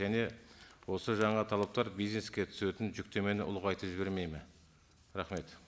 және осы жаңа талаптар бизнеске түсетін жүктемені ұлғайтып жібермейді ме рахмет